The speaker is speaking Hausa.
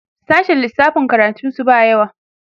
sashen lissafi karatun su ba yawa